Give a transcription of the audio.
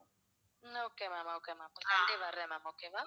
உம் okay ma'am okay ma'am Sunday வர்றேன் ma'amokay வா?